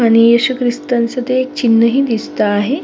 आणि येशू ख्रिस्तांच ते चिन्ह ही दिसत आहे.